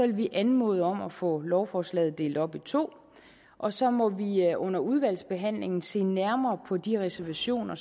vi anmode om at få lovforslaget delt op i to og så må vi under udvalgsbehandlingen se nærmere på de reservationer